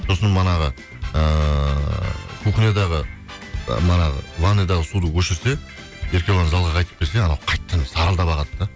сосын ыыы кухниядағы ы ванныйдағы суды өшірсе еркебұлан залға қайтып келсе анау қайтадан сарылдап ағады да